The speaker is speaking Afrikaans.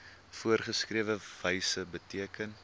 voorgeskrewe wyse beteken